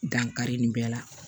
Dankari nin bɛɛ la